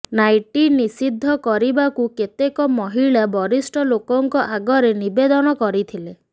nightie ନିଷିଦ୍ଧ କରିବାକୁ କେତେକ ମହିଳା ବରିଷ୍ଠ ଲୋକଙ୍କ ଆଗରେ ନିବେଦନ କରିଥିଲେ